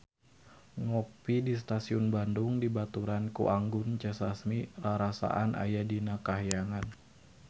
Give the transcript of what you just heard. Ngopi di Stasiun Bandung dibaturan ku Anggun C. Sasmi rarasaan aya di kahyangan